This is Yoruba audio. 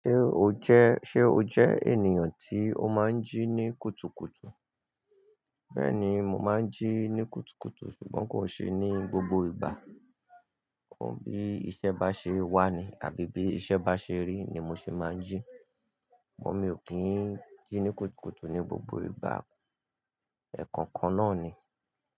Ṣé o jẹ́, ṣe o jẹ́ ènìyàn tí ó máa ń jí ní kùtùkùtù? Bẹ́ẹ̀ni, mo máa ń jí ní kùtùkùtù ṣùgbọ́n kò ṣe ní gbogbo ìgbà. Bí iṣẹ́ bá ṣe wà ni àbí bí iṣẹ́ bá ṣe rí ni mo ṣe máa ń jí. Ṣùgbọ́n mi ò kí ń jí ní kùtùkùtù ní gbogbo ìgbà. Ẹ̀ẹ̀kọ̀kan náà ni.